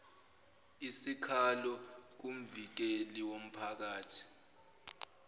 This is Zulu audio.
isikhalo kumvikeli womphakathi